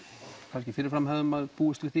kannski fyrir fram hefði maður búist við